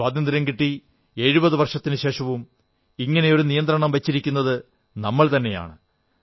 സ്വാതന്ത്ര്യം കിട്ടി 70 വർഷത്തിനുശേഷവും ഇങ്ങനെയൊരു നിയന്ത്രണം വച്ചിരിക്കുന്നത് നമ്മൾ തന്നെയാണ്